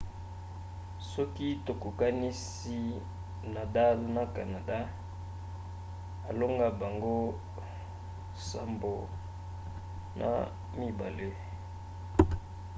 soki tokokanisi nadal na canada alonga bango 7–2